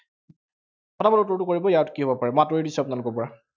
পটাপট উত্তৰটো কৰিব, ইয়াত কি হব পাৰে, মই আঁতৰি দিছো আপোনালোকৰ পৰা।